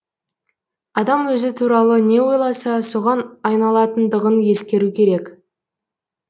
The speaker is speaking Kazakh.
адам өзі туралы не ойласа соған айналатындығын ескеру керек